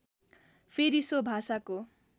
फेरि सो भाषाको